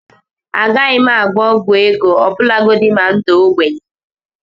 Agaghị m agwọ ọgwụ ego ọbụlagodi na m daa ogbenye